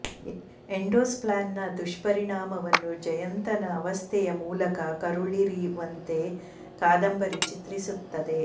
ಎಂಡೋಸಲ್ಫಾನ್ನ ದುಷ್ಪರಿಣಾವನ್ನು ಜಯಂತನ ಅವಸ್ಥೆಯ ಮೂಲಕ ಕರುಳಿರಿವಂತೆ ಕಾದಂಬರಿ ಚಿತ್ರಿಸುತ್ತದೆ